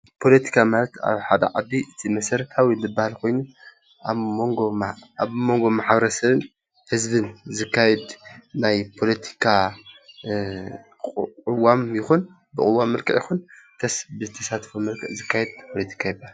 ፖሎቲካ ማለት ኣብ ሓደ ዓዲ እቲ መሰረታዊ ዝበሃል ኮይኑ ኣብ መንጎ ማሕበረሰብን ህዝብን ዝካየድ ናይ ፖሎቲካ ቁዋም ይኩን ብቁዋም መልክዕ ይኩን እንተስ ብተሳትፎ መልክዕ ዝካየድ ፖሎቲካ ይበሃል።